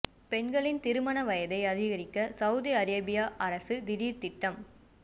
பெண்களின் திருமண வயதை அதிகரிக்க சவுதி அரேபிய அரசு திடீர் திட்டம்